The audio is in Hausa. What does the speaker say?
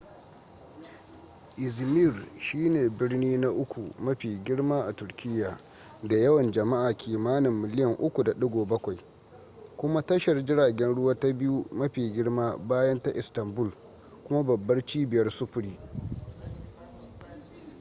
izmir shi ne birni na uku mafi girma a turkiyya da yawan jama'a kimanin miliyan 3.7 kuma tashar jiragen ruwa ta biyu mafi girma bayan ta istanbul kuma babbar cibiyar sufuri